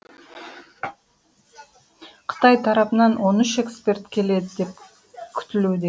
қытай тарапынан он үш эксперт келеді деп күтілуде